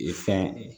fɛn